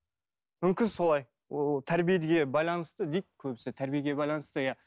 мүмкін солай ол тәрбиеге байланысты дейді көбісі тәрбиеге байланысты иә